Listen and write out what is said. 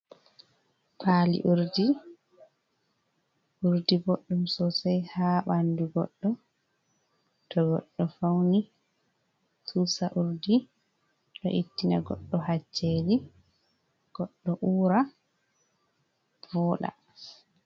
Pali urdi, urdi ɓoɗɗum sosai ha ɓandu goɗɗo to goɗɗo fauni susa urdi ɗo ettina goɗɗo hacceli goɗɗo ura vooɗa.